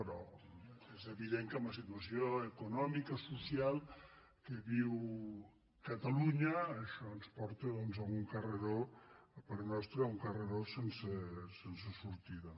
però és evident que en la situació econòmica o social que viu catalunya això ens porta doncs a un carreró a parer nostre sense sortida